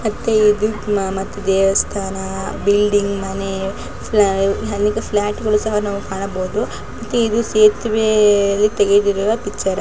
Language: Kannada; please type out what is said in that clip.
ಇಲ್ಲಿ ದೇವಸ್ಥಾನ ಬಿಲ್ಡಿಂಗ್ ಮನೆ ಅಲ್ಲಿ ಫ್ಲಾಟ್ ಗಳು ಕೂಡ ನಾವು ಕಾಣಬಹುದು. ಇದು ಸೇತುವೆಯಲ್ಲಿ ತೆಗೆದಿರುವ ಪಿಚ್ಚರ್ ಆಗಿದೆ.